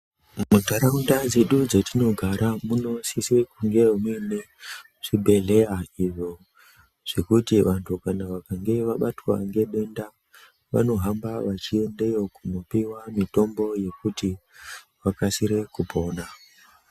Mundaraunda medu matinogara munosise kunge muinewo zvibhedhlera izvo zvekuti kana vantu vakange vabatwa ngedenda vanohamba vachiendeyo kungopiwa mutombo yekuti vakasire kupora.